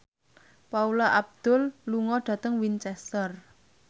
Paula Abdul lunga dhateng Winchester